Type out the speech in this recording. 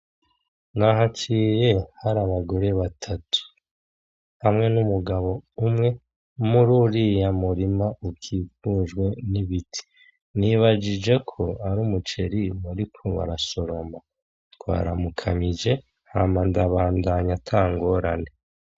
Nahaciye hari abagore batatu hamwe n'umugabo umwe mururiya murima ukikujwe n'ibiti, nibajijeko ari umuceri bariko barasoroma, twaramukanije hama ndabandanya ata ngorane.